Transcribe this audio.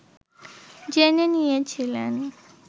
জেনে নিয়েছিলেন